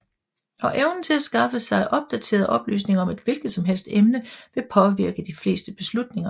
Og evnen til at skaffe sig opdaterede oplysninger om et hvilket som helst emne vil påvirke de fleste beslutninger